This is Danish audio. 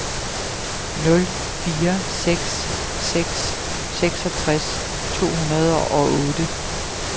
nul fire seks seks seksogtres to hundrede og otte